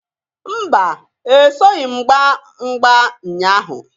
Mba! Esoghi m gbaa mgba nnya ahụ.